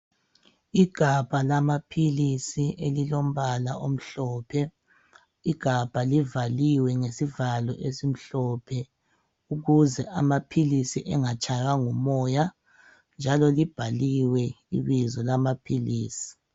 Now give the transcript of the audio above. Igabha lamaphilisi elilombala omhlophe igabha livaliwe ngesivalo esimhlophe, ukuze amaphilisi angatshaywa ngumoya njalo libhaliwe ibizo lamaphilisi.